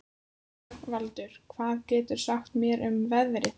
Rögnvaldur, hvað geturðu sagt mér um veðrið?